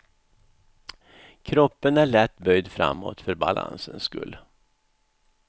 Kroppen är lätt böjd framåt för balansens skull.